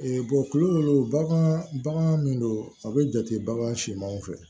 tulu dɔ bagan bagan min don a bɛ jate bagan simanw fɛ